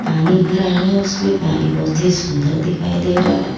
पानी भरा है और उसमें पानी बहुत ही सुंदर दिखाई दे रहा है।